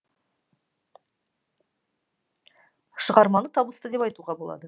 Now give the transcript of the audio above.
шығарманы табысты деп айтуға болады